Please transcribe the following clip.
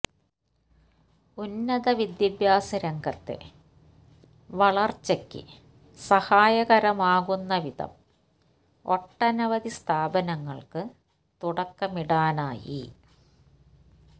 ഉന്നത വിദ്യാഭ്യാസ രംഗത്തെ വളർച്ചയ്ക്ക് സഹായകരമാകുന്ന വിധം ഒട്ടനവധി സ്ഥാപനങ്ങൾക്ക് തുടക്കമിടാനായി